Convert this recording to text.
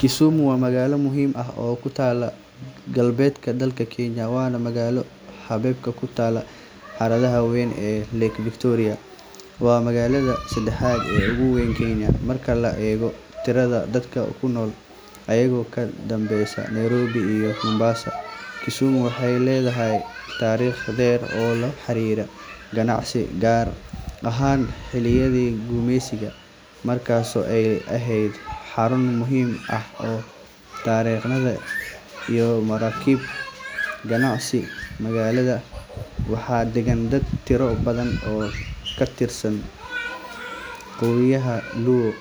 Kisumu waa magaalo muhiim ah oo ku taalla galbeedka dalka Kenya, waana magaalo xeebeed ku taal harada weyn ee Lake Victoria. Waa magaalada saddexaad ee ugu weyn Kenya marka la eego tirada dadka ku nool, iyadoo ka dambeysa Nairobi iyo Mombasa. Kisumu waxay leedahay taariikh dheer oo la xiriirta ganacsiga, gaar ahaan xilliyadii gumeysiga, markaasoo ay ahayd xarun muhiim ah oo tareennada iyo maraakiibta ganacsiga. Magaalada waxaa degan dad tiro badan oo ka tirsan qowmiyadda Luo,